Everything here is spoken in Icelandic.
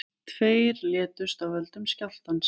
Tveir létust af völdum skjálftans